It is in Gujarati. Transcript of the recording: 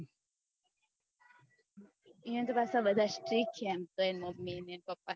યો ને તો પાછા બધા strict એમ તો એની મમ્મી એન પપ્પા